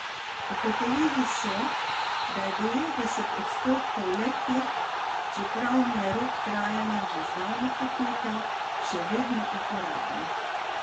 Ugotovili so, da je devetdeset odstotkov le teh, čeprav jim je rok trajanja že davno potekel, še vedno uporabnih.